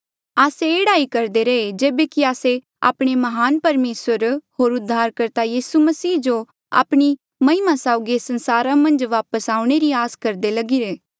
आस्से एह्ड़ा ही करदे रहे जेबे कि आस्से आपणे म्हान परमेसर होर उद्धारकर्ता यीसू मसीह जो आपणी महिमा साउगी एस संसारा मन्झ वापस आऊणें री आस करदे लगिरे